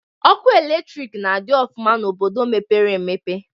Ọkụ latrịk na-adị ọfụma n'obodo mepere emepe.